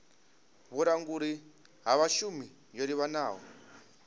vhulanguli ha vhashumi yo livhanaho